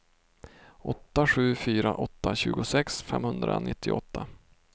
åtta sju fyra åtta tjugosex femhundranittioåtta